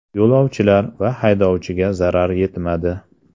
Yo‘lovchilar va haydovchiga zarar yetmadi.